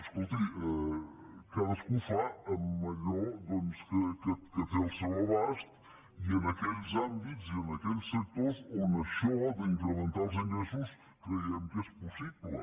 escolti cadascú fa amb allò doncs que té al seu abast i en aquells àmbits i en aquells sectors on això d’incrementar els ingressos creiem que és possible